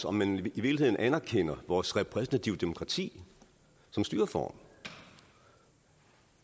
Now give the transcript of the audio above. om man i virkeligheden anerkender vores repræsentative demokrati som styreform